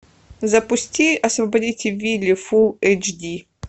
запусти освободите вилли фул эйч ди